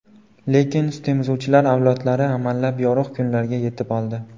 Lekin sutemizuvchilar avlodlari amallab yorug‘ kunlarga yetib oldi.